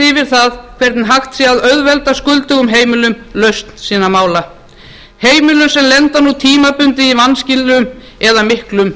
yfir það hvernig hægt sé að auðvelda skuldugum heimilum lausn sinna mála heimilum sem lenda nú tímabundið í vanskilum eða miklum